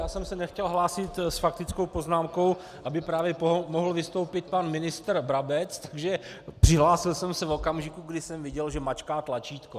Já jsem se nechtěl hlásit s faktickou poznámkou, aby právě mohl vystoupit pan ministr Brabec, takže přihlásil jsem se v okamžiku, kdy jsem viděl, že mačká tlačítko.